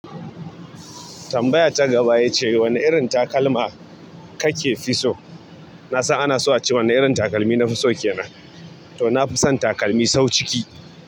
Tambaya ta gaba ita ce wane irin takalma kake fi so? Na san ana so a ce wane irin takalmi nafi so ke nan. To nafi son takalmi sau ciki.